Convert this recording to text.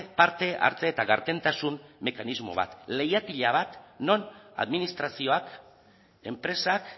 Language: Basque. parte hartze eta gardentasun mekanismo bat leihatila bat non administrazioak enpresak